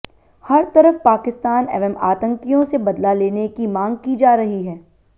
हर तरफ पाकिस्तान एवं आतंकियों से बदला लेने की मांग की जा रही है